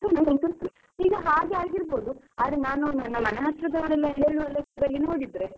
ನನಗಂತೂ ಈಗ ಹಾಗೆ ಆಗಿರ್ಬೋದು. ಆದ್ರೆ ನಾನು ನನ್ನ ಮನೆ ಹತ್ರದ್ದವರೆಲ್ಲ ಹೇಳುವ ಲೆಕ್ಕದಲ್ಲಿ ನೋಡಿದ್ರೆ.